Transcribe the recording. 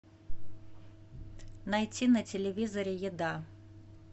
найти на телевизоре еда